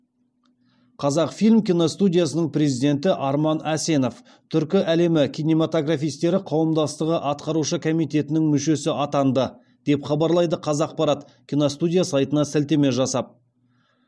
қазақфильм киностудиясының президенті арман әсенов түркі әлемі кинематографистері қауымдастығы атқарушы комитетінің мүшесі атанды деп хабарлайды қазақпарат киностудия сайтына сілтеме жасап